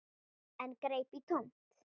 En greip í tómt.